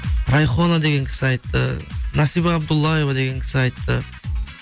райхона деген кісі айтты насиба абдуллаева деген кісі айтты